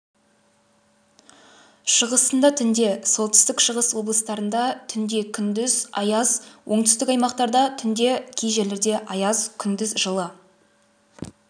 шығысында түнде солтүстік-шығыс облыстарында түнде күндіз аяз оңтүстік аймақтарда түнде кей жерлерде аяз күндіз жылы